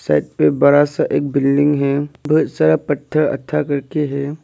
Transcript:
पे बड़ा सा एक बिल्डिंग है बहुत सारा पत्थर करके है।